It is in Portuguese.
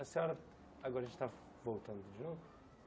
A senhora... Agora a gente está voltando de novo.